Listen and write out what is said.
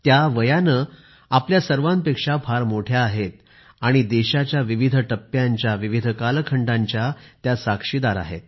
त्या वयाने आपल्या सर्वांपेक्षा फार मोठ्या आहेत आणि देशाच्या विविध टप्प्यांच्या विविध कालखंडांच्या त्या साक्षीदार आहेत